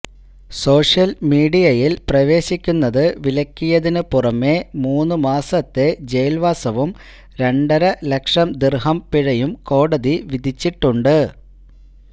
social മീഡിയയില് പ്രവേശിക്കുന്നത് വിലക്കിയതിന് പുറമെ മൂന്ന് മാസത്തെ ജയില്വാസവും രണ്ടര ലക്ഷം ദിര്ഹം പിഴയും കോടതി വിധിച്ചിട്ടുണ്ട്